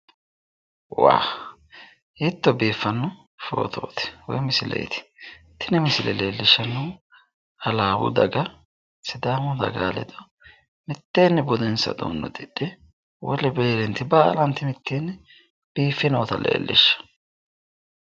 Waa hiitto biifano foottoti woyi misileeti tini halabbu daga sidaamu daga ledo mitteeni budensa udidhe wole daga baalla mitenni biiffe nootta leelishano.